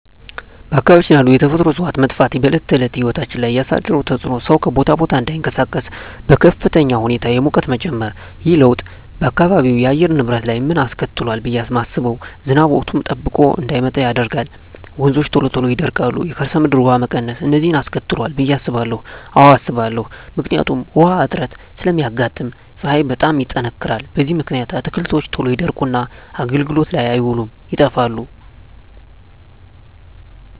በአካባቢያችን ያሉ የተፈጥሮ እፅዋት መጥፋት በዕለት ተዕለት ሕይወት ላይ ያሣደረው ተፅኖ ሠው ከቦታ ቦታ እዳይንቀሣቀስ፤ በከፍተኛ ሁኔታ የሙቀት መጨመር። ይህ ለውጥ በአካባቢው የአየር ንብረት ላይ ምን አስከትሏል ብየ ማስበው። ዝናብ ወቅቱን ጠብቆ እዳይመጣ ያደርጋል፤ ወንዞች ቶሎ ይደርቃሉ፤ የከርሠ ምድር ውሀ መቀነስ፤ እነዚን አስከትሏል ብየ አስባለሁ። አዎ አስባለሁ። ምክንያቱም ውሀ እጥረት ስለሚያጋጥም፤ ፀሀይ በጣም ይጠነክራል። በዚህ ምክንያት አትክልቶች ቶሎ ይደርቁና አገልግሎት ላይ አይውሉም ይጠፋሉ።